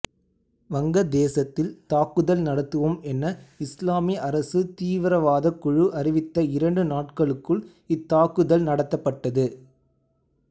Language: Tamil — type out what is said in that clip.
வங்கதேசத்தில் தாக்குதல் நடத்துவோம் என இஸ்லாமிய அரசு தீவிரவாதக் குழு அறிவித்த இரண்டு நாட்களுக்குள் இத்தாக்குதல் நடத்தப்பட்டது